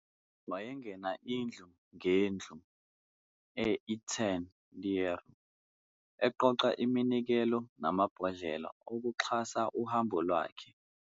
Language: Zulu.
Wayengena indlu ngendlu e- Etten-Leur eqoqa iminikelo namabhodlela okuxhasa uhambo lwakhe.